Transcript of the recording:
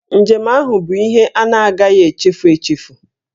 Njem ahụ bụ ihe a na-agahị echefu echefu